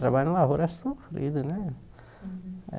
Trabalho na lavoura é sofrido, né? É